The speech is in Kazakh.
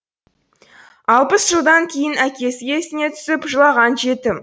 алпыс жылдан кейін әкесі есіне түсіп жылаған жетім